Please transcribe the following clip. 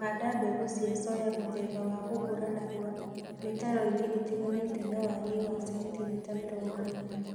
handa mbegu cia soya mũthemba wa gũkũra narua mĩtaroini ĩtiganĩte na walie wa sentimita mĩrongo ĩna